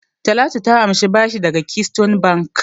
Talatu ta amshi bashi daga Keystone Bank.